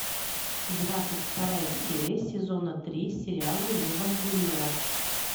двадцать вторая серия сезона три сериала евангелион